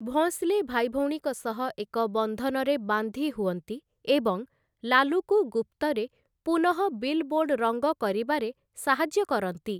ଭୋଁସଲେ ଭାଇଭଉଣୀଙ୍କ ସହ ଏକ ବନ୍ଧନରେ ବାନ୍ଧି ହୁଅନ୍ତି ଏବଂ ଲାଲୁକୁ ଗୁପ୍ତରେ ପୁନଃ ବିଲବୋର୍ଡ଼ ରଙ୍ଗ କରିବାରେ ସାହାଯ୍ୟ କରନ୍ତି ।